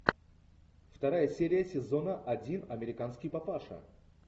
вторая серия сезона один американский папаша